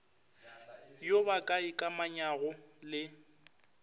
yo ba ka ikamanyago le